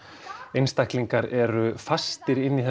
einstaklingar eru fastir inni í